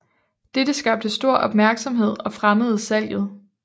Dette skabte stor opmærksomhed og fremmede salget